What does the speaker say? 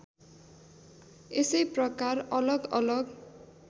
यसै प्रकार अलगअलग